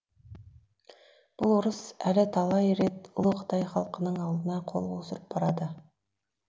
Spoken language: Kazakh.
бұл орыс әлі талай рет ұлы қытай халқының алдына қол қусырып барады